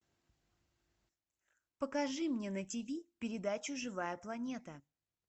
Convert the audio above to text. покажи мне на тиви передачу живая планета